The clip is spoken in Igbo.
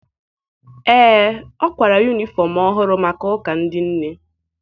Ee, ọ kwara yunifọm ọhụrụ maka ụka ndị nne.